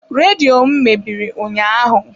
Redio m mebiri ụnyahụ.